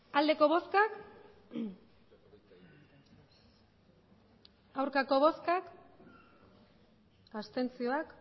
emandako botoak